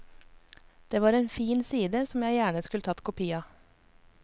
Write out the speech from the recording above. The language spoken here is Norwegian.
Det var en fin side som jeg gjerne skulle tatt kopi av.